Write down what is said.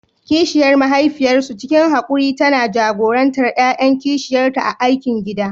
Kishiyar mahaifiyarsu, cikin haƙuri tana jagorantar ƴaƴan kishiyarta a aikin gida.